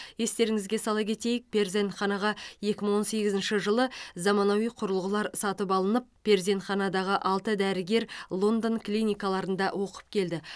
естеріңізге сала кетейік перзентханаға екі мың он сегізінші жылы заманауи құрылғылар сатып алынып перзентханадағы алты дәрігер лондон клиникаларында оқып келді